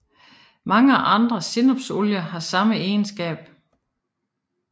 Mange andre sennepsolier har samme egenskab